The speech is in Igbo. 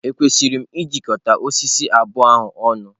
Ekwesịrị m ịjikọta osisi abụọ a ọnụ?